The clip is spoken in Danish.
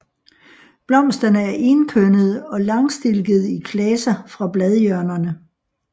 Blomsterne er enkønnede og langstilkede i klaser fra bladhjørnerne